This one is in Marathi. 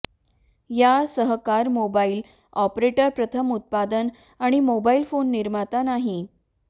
या सहकार मोबाइल ऑपरेटर प्रथम उत्पादन आणि मोबाइल फोन निर्माता नाही